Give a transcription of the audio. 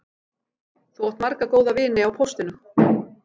Þú átt marga góða vini á póstinum